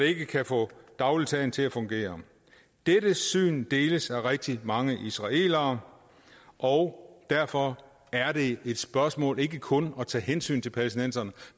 ikke kan få dagligdagen til at fungere dette syn deles af rigtig mange israelere og derfor er det et spørgsmål om ikke kun at tage hensyn til palæstinenserne